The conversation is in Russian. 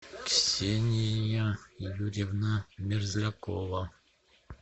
ксения юрьевна мерзлякова